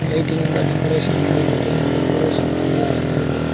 ಲೈಟಿನಿಂದ decoration ಮಾಡಿದ್ದಾರೆ decoration ತುಂಬ ಚೆನ್ನಾಗಿದೆ.